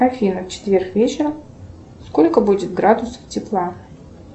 афина в четверг вечером сколько будет градусов тепла